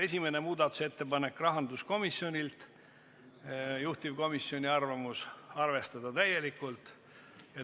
Esimene muudatusettepanek on rahanduskomisjonilt, juhtivkomisjoni arvamus on arvestada täielikult.